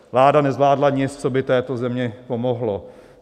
Vláda nezvládla nic, co by této zemi pomohlo.